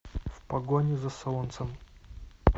в погоне за солнцем